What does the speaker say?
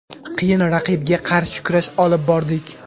Qiyin raqibga qarshi kurash olib bordik.